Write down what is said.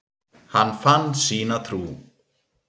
Hann fann sína trú.